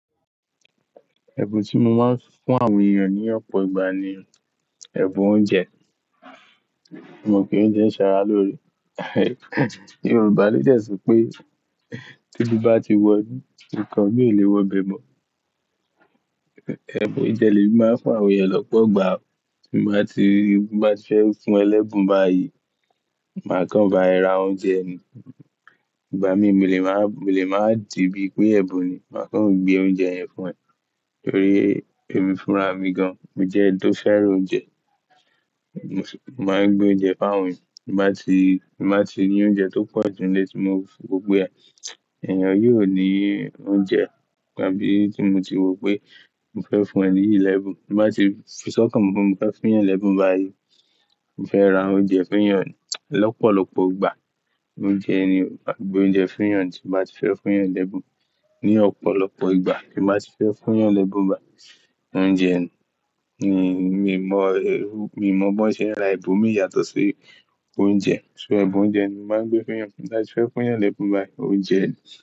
Ẹ̀bùn tí mo máa ń fún àwọn èèyàn ní ọ̀pọ̀ ìgbà ni ẹbùn oúnjẹ. Mo mọ̀ pé óunjẹ́ ṣara lóore. Yorùbá lè dẹ́ ṣopé tebí bá ti wọ inú, nnkan mi ò le wọ ibẹ̀ mọ̀. Ẹbùn oúnjẹ ni emi máa ń fún àwọn èèyàn lọ́pọ̀ ìgbà. Bí n bá ti, bi n bá ti fẹ́ fún won lẹ́bùn báyìí, màá kàn bá ra oúnjẹ mi. Ìgbà mí, mo lè máa, mo lè máa di bí pé ẹbùn ni, màá kàn gbé oúnjẹ yẹn fún ẹ nítorí èmi fúnra mi gan. Mo jẹ́ ẹni tó fẹ́ràn oúnjẹ. Mo máa ń gbé oúnjẹ fún àwọn èèyàn. Bí n bá ti, bí n bá ti rí oúnjẹ tó pọ̀jù nílé tí mo fi gbogbo ẹ, èèyàn yi o ní oúnjẹ. Ìgbà bí tí mo ti wọ̀ pé n fẹ́ fún ẹni lẹ́bùn, bí mo bá ti fipé sọ́kàn fún un pé n fẹ́ fún yẹn lẹ́bùn báyìí, n fẹ́ ra oúnjẹ fún èèyàn lọ́pọ̀lọpọ̀ ìgbà. Oúnjẹ ni mo máa ń gbé oúnjẹ fún èèyàn tí mo bá ti fẹ́ fún yẹn lẹ́bùn ní ọ̀pọ̀lọpọ̀ ìgbà tí mo bá ti fẹ́ fún yẹn lẹ́bùn báyìí. Oúnjẹ ni, mi ò mọ̀, mi ò mọ̀ bó ṣe ẹra ẹbù mi yàtọ̀ sí oúnjẹ. So ẹbù oúnjẹ ni mo máa ń gbé fún èèyàn tí mo bá ti fẹ́ fún yẹn lẹ́bùn báyìí. Oúnjẹ ni.